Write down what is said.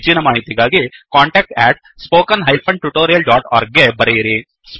ಹೆಚ್ಚಿನ ಮಾಹಿತಿಗಾಗಿ contactspoken tutorialorg ಗೆ ಬರೆಯಿರಿ